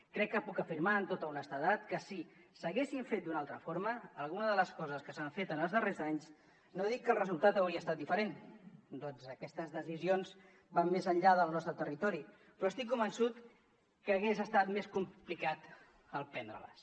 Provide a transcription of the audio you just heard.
crec que puc afirmar amb tota honestedat que si s’haguessin fet d’una altra forma alguna de les coses que s’han fet en els darrers anys no dic que el resultat hauria estat diferent ja que aquestes decisions van més enllà del nostre territori però estic convençut que hagués estat més complicat el prendre les